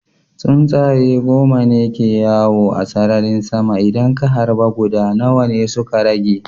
Tsuntsaye goma ne ke yawo a sararin sama, idan ka harba guda nawa ne suka rage?